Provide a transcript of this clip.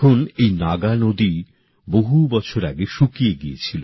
এই নাগা নদী বহু বছর আগে শুকিয়ে গিয়েছিল